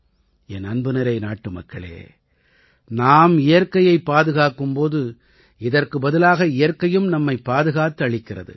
என் அன்புநிறை நாட்டுமக்களே நாம் இயற்கையைப் பாதுகாக்கும் போது இதற்கு பதிலாக இயற்கையும் நம்மைப் பாதுகாத்தளிக்கிறது